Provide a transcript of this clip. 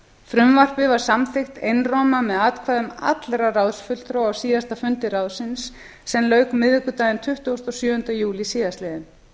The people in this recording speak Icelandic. frumvarpið var samþykkt einróma með atkvæðum allra ráðsfulltrúa á síðasta fundi ráðsins sem lauk miðvikudaginn tuttugasta og sjöunda júlí síðastliðinn